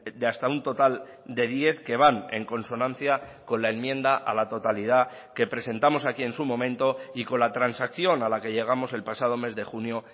de hasta un total de diez que van en consonancia con la enmienda a la totalidad que presentamos aquí en su momento y con la transacción a la que llegamos el pasado mes de junio